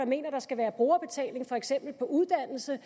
mener at der skal være brugerbetaling på for eksempel uddannelse